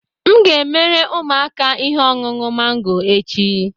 M ga-emere ụmụaka ihe ọṅụṅụ mango echi